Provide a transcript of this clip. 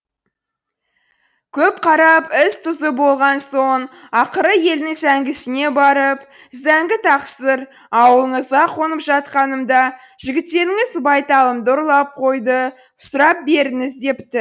көп қарап із тұзы болған соң ақыры елдің зәңгісіне барып зәңгі тақсыр ауылыңызға қонып жатқанымда жігіттеріңіз байталымды ұрлап қойды сұрап беріңіз депті